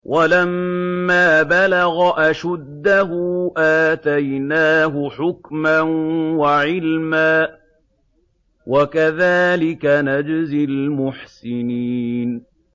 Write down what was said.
وَلَمَّا بَلَغَ أَشُدَّهُ آتَيْنَاهُ حُكْمًا وَعِلْمًا ۚ وَكَذَٰلِكَ نَجْزِي الْمُحْسِنِينَ